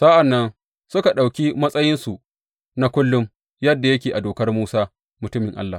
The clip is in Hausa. Sa’an nan suka ɗauki matsayinsu na kullum yadda yake a Dokar Musa mutumin Allah.